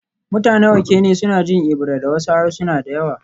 Mutanen Okene suna jin Ebira da wasu harsuna da yawa